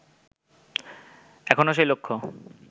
এখনো সেই লক্ষ্য